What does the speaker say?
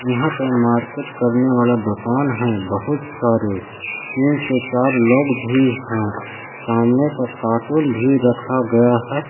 यहां पे मार्केट करने वाला दुकान है बहुत सारे तीन से चार लोग भी हैं सामने पे कार्टून भी रखा गया है।